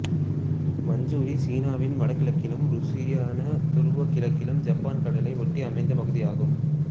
மஞ்சூரியா சீனாவின் வடகிழக்கிலும் உருசியாவின் தூரக் கிழக்கில் ஜப்பான் கடலை ஒட்டி அமைந்த பகுதியாகும்